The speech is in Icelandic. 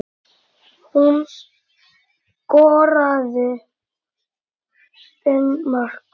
Hún skoraði fimm mörk.